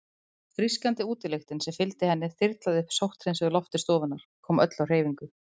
Frískandi útilyktin sem fylgdi henni þyrlaði upp sótthreinsuðu lofti stofunnar, kom öllu á hreyfingu.